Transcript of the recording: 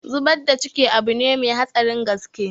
Zubar da ciki abune mai hatsarin gaske